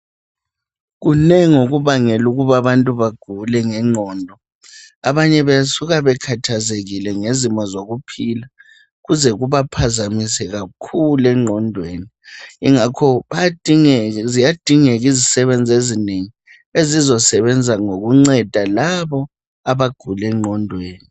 Kunengi okubangela ukuba abantu bagule ngengqondo. Abanye basuka bekhathazekile ngezimo zokuphila kuze kubaphazamise kakhulu engqondweni ingakho ziyadingeka izisebenzi ezinengi ezizosebenza ngokunceda labo abagule ngqondweni.